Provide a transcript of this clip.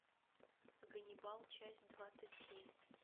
ганнибал часть двадцать семь